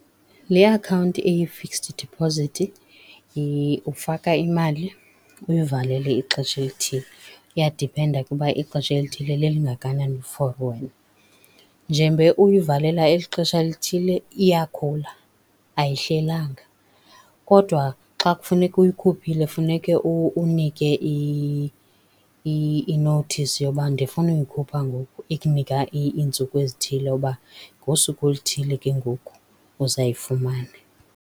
Le akhawunti eyi-fixed deposit ufaka imali uyivalele ixesha elithile. Kuyadiphenda ke ukuba ixesha elithile lelingakanani for wena. Njengoba uyivalela eli xesha lithile iyakhula, ayihlelanga. Kodwa xa kufuneka uyikhuphile kufuneka unike inothisi yoba ndifuna uyikhupha ngoku, ikunika iintsuku ezithile uba ngosuku oluthile ke ngoku uzayifumana.